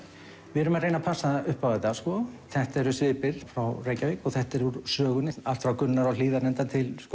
við erum að reyna að passa upp á þetta þetta eru svipir frá Reykjavík og þetta er úr sögunni allt frá Gunnari á Hlíðarenda til